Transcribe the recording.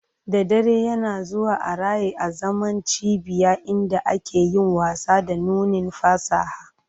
Da dare, yana zuwa a raye azaman cibiya inda ake yin wasa da nunin fasaha